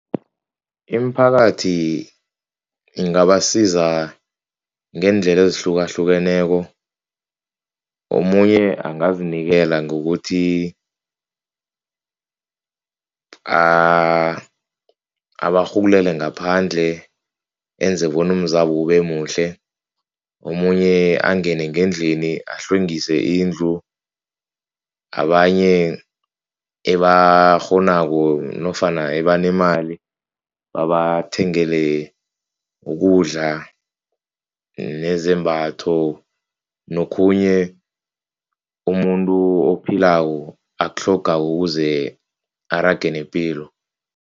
Imiphakathi ingabasiza ngeendlela ezihlukahlukeneko, omunye angazinikela ngokuthi abarhulele ngaphandle, enze boa umzabo ube muhle, omunye angene ngendlini ahlwengisa indlu, abanye ebakghonako nofana abanemali babathengele ukudla nezembatho nokhunye umuntu ophilako akutlhogako ukuze arage nepilo.